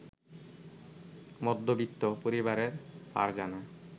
মধ্যবিত্ত পরিবারের ফারজানা